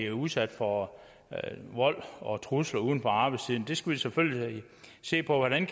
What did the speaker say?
udsat for vold og trusler uden for arbejdstiden vi skal selvfølgelig se på hvordan